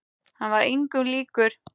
Hann var engum líkur.